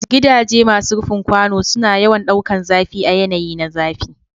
Gidaje masu rufin kwano suna yawan ɗaukan zafi a yanayi na zafi.